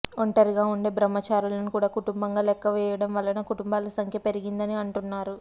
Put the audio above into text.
ఒంటరిగా వుండే బ్రహ్మచారులను కూడా కుటుంబంగా లెక్క వేయడం వలన కుటుంబాల సంఖ్య పెరిగింది అంటున్నారు